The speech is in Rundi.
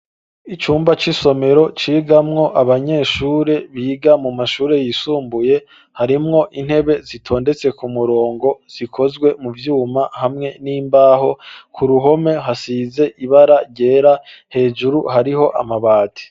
Icumba c,isomero cigamwo abanyeshuri biga mu mashuri yisumbuye ,harimwo intebe zitondetse ku murongo zikozwe mu vyuma hamwe n'imbaho ku ruhome hasize ibara ryera hejuru hariho amabati.